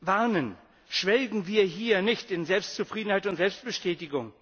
warnen Schwelgen wir hier nicht in Selbstzufriedenheit und Selbstbestätigung!